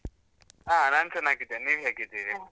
ಹ, ನಾನ್ ಚನ್ನಾಗಿದ್ದೇನೆ. ನೀವ್ ಹೇಗಿದ್ದೀರಿ?